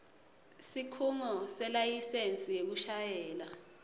sikhungo selayisensi yekushayela